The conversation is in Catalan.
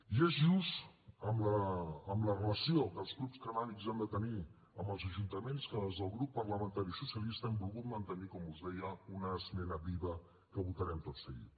i és just amb la relació que els clubs cànnabis han de tenir amb els ajuntaments que des del grup parlamentari socialista hem volgut mantenir com us deia una esmena viva que votarem tot seguit